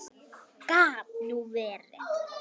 Gat nú verið!